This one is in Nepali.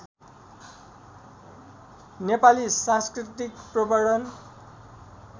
नेपाली साँस्कृतिक प्रवर्धन